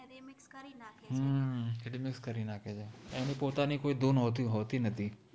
હમ remix કરિ નાખે છે એનિ પોતનિ કોઇ ધુન હોતિ હોતિ નૈઇ